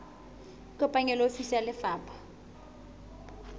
ikopanye le ofisi ya lefapha